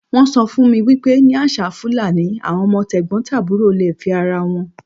Wọ́n sọ fún mi wípé ní àṣà Fúlàní, àwọn ọmọ t'ẹ̀gbọ̀ntàbúrò le fẹ́ ara wọn.